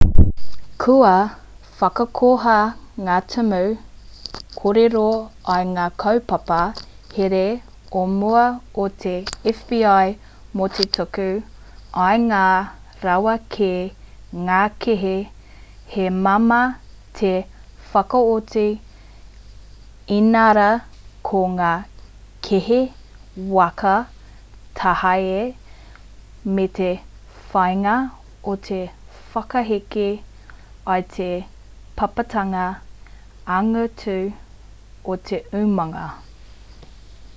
kua whakakoha ngā tumu kōrero i ngā kaupapa here o mua o te fbi mō te tuku i ngā rawa ki ngā kēhi he māmā te whakaoti inarā ko ngā kēhi waka tāhae me te whāinga o te whakahiki i te pāpātanga angitu o te umanga